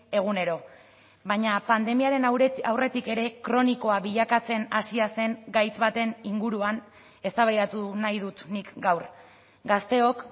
egunero baina pandemiaren aurretik ere kronikoa bilakatzen hasia zen gaitz baten inguruan eztabaidatu nahi dut nik gaur gazteok